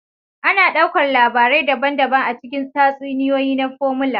Ana ɗaukar labarai daban-daban a cikin tatsuniyoyi na Formula